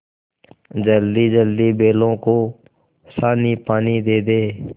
जल्दीजल्दी बैलों को सानीपानी दे दें